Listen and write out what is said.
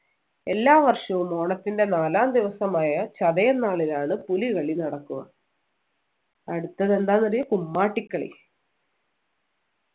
എല്ലാ വർഷവും ഓണത്തിൻ്റെ നാലാം ദിവസമായ ചതയം നാളിലാണ് പുലികളി നടക്കുക അടുത്തത് എന്താന്നറിയുമോ കുമ്മാട്ടിക്കളി